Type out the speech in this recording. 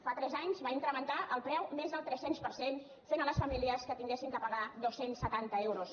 fa tres anys va incrementar el preu més del tres cents per cent fent a les famílies que haguessin de pagar dos cents i setanta euros